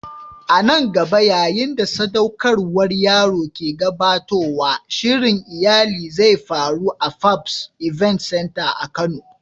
A nan gaba, yayin da sadaukarwar yaro ke gabatowa, shirin iyali zai faru a Fabs Event center a kano.